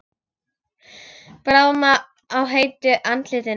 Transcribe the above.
Bráðna á heitu andliti mínu.